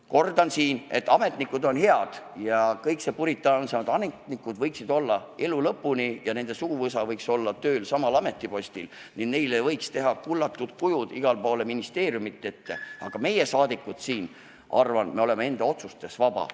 Kordan, et ametnikud on head ja et kõikse puritaansemad ametnikud ja nende suguvõsad võiks töötada samal ametipostil elu lõpuni ning nende auks võiks igale poole ministeeriumide ette teha kullatud kujud, aga ma arvan, et meie, rahvasaadikud, oleme oma otsustes vabad.